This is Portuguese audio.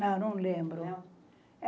Não, não lembro. não